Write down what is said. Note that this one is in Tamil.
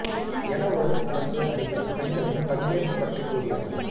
என ஒரு அரசு அறிக்கை பெண்களின் பங்கேற்பு பற்றிக் கூறியது